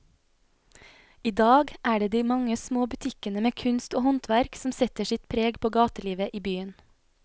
I dag er det de mange små butikkene med kunst og håndverk som setter sitt preg på gatelivet i byen.